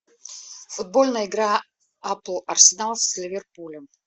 футбольная игра апл арсенал с ливерпулем